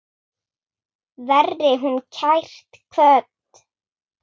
Veri hún kært kvödd.